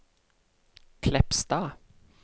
Kleppstad